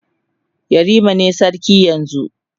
yarima ne sarki yanzun